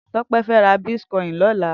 Tope fè rà bitkòin lòlá